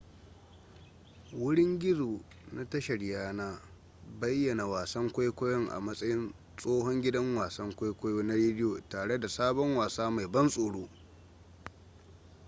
wurin gizo na tashar yana bayyana wasan kwaikwayon a matsayin tsohon gidan wasan kwaikwayo na rediyo tare da sabon wasa mai ban tsoro